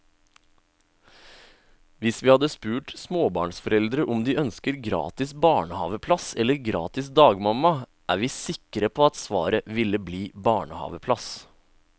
Hvis vi hadde spurt småbarnsforeldre om de ønsker gratis barnehaveplass eller gratis dagmamma, er vi sikre på at svaret ville bli barnehaveplass.